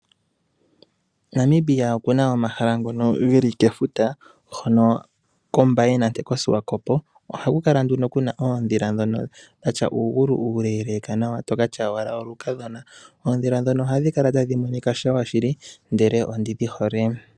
Namibia okuna omahala ngono geli kefuta, hono kOmbaye nande koShiwakopo. Ohaku kala nduno kuna oodhila ndhono dhatya uugulu uuleeleeka nawa tokatya owala olukadhona. Oondhila ndhono ohadhi kala tadhi monika nawa shili, ndele ondidhi hole.